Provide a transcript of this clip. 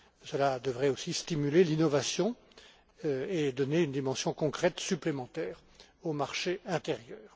Cela devrait aussi stimuler l'innovation et donner une dimension concrète supplémentaire au marché intérieur.